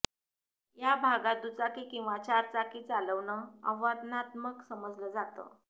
या भागात दुचाकी किंवा चारचाकी चालवणं आव्हानात्मक समजलं जातं